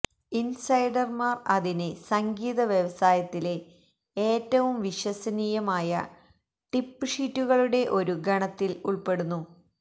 ഇൻസൈഡർമാർ അതിനെ സംഗീത വ്യവസായത്തിലെ ഏറ്റവും വിശ്വസനീയമായ ടിപ്പ് ഷീറ്റുകളുടെ ഒരു ഗണത്തിൽ ഉൾപ്പെടുന്നു